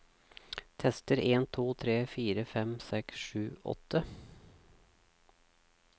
Tester en to tre fire fem seks sju åtte